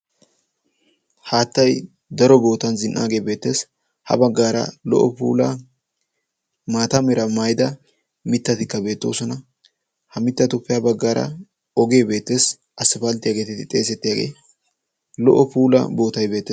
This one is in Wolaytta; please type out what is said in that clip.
haattai daro bootan zin77aagee beeteesi ha baggaara lo77o pula maata meera mayida mittatikka beettoosona.ha mittatuppe ha baggaara ogee beettes assifaalttiyaageetedi xeesettiyaagee lo77o pula bootai beette.